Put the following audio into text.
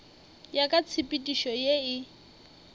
ya ka tshepedišo ye e